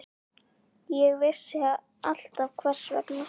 Ég vissi alltaf hvers vegna.